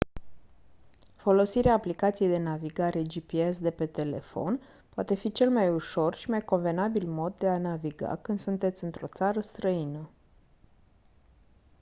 folosirea aplicației de navigare gps de pe telefon poate fi cel mai ușor și mai convenabil mod de a naviga când sunteți într-o țară străină